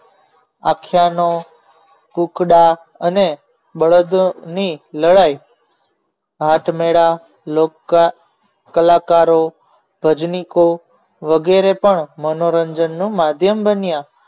આખ્યાનનો કુકડા અને બળદ ની લડાઈ હાથમેળા કલાકારો ભજનીકો વગેરે પણ મનોરંજનનું માધ્યમ બન્યા